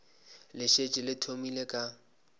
le šetše le thomile ka